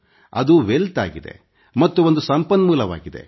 ಅದು ಐಶ್ವರ್ಯ ಆಗಿದೆ ಮತ್ತು ಒಂದು ಸಂಪನ್ಮೂಲವಾಗಿದೆ